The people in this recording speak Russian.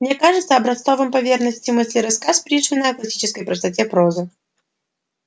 мне кажется образцовым по верности мысли рассказ пришвина о классической простоте прозы